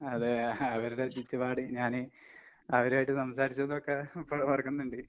അതെ അവരുടെ ചുറ്റുപാട് ഞാന് അവരുവായിട്ട് സംസാരിച്ചതുവൊക്കെ ഇപ്പളുവോർക്ക്ന്ന്ണ്ട്.